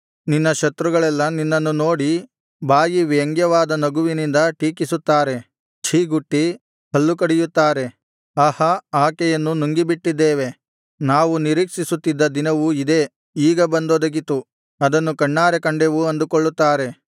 ನಿನ್ನ ಶತ್ರುಗಳೆಲ್ಲಾ ನಿನ್ನನ್ನು ನೋಡಿ ಬಾಯಿ ವ್ಯಂಗ್ಯವಾದ ನಗುವಿನಿಂದ ಟೀಕಿಸುತ್ತಾರೆ ಛೀಗುಟ್ಟಿ ಹಲ್ಲು ಕಡಿಯುತ್ತಾರೆ ಆಹಾ ಆಕೆಯನ್ನು ನುಂಗಿಬಿಟ್ಟಿದ್ದೇವೆ ನಾವು ನಿರೀಕ್ಷಿಸುತ್ತಿದ್ದ ದಿನವು ಇದೇ ಈಗ ಬಂದೊದಗಿತು ಅದನ್ನು ಕಣ್ಣಾರೆ ಕಂಡೆವು ಅಂದುಕೊಳ್ಳುತ್ತಾರೆ